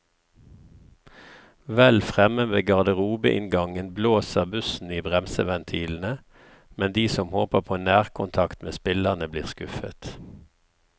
Vel fremme ved garderobeinngangen blåser bussen i bremseventilene, men de som håper på nærkontakt med spillerne, blir skuffet.